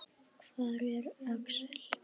Hver er Axel?